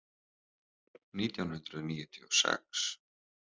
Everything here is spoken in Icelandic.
Nítján hundruð níutíu og sex